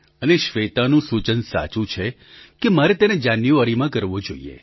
અને શ્વેતાનું સૂચન સાચું છે કે મારે તેને જાન્યુઆરીમાં કરવો જોઈએ